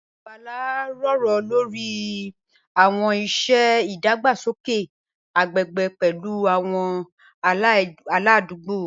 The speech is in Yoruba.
Bala jiroro lori awọn iṣẹ idagbasoke agbegbe pẹlu awọn aladugbo.